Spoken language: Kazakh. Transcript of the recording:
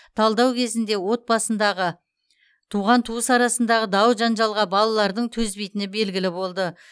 талдау кезінде отбасындағы туған туыс арасындағы дау жанжалға балалардың төзбейтіні белгілі болды